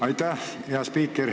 Aitäh, hea spiiker!